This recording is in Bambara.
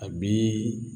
A bi